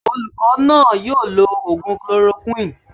Olùkọ́ náà yóò lo ògùn chloroquine